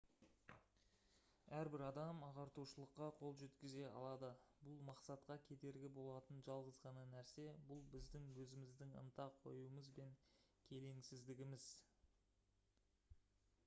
әрбір адам ағартушылыққа қол жеткізе алады бұл мақсатқа кедергі болатын жалғыз ғана нәрсе бұл біздің өзіміздің ынта қоюымыз бен келеңсіздігіміз